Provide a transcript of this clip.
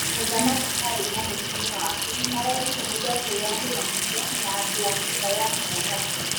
Mũthamaki Harry na mũtumia wake nĩ marerutanĩria kwĩyamũrania na andũ a nyũmba ya ũthamaki.